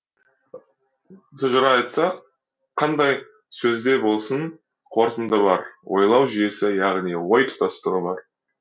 тұжыра айтсақ қандай сөзде болсын қорытынды бар ойлау жүйесі яғни ой тұтастығы бар